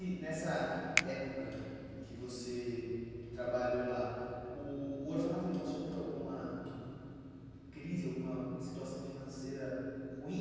E nessa época em que você trabalhou lá, o o orfanato passou por alguma crise, alguma situação financeira ruim?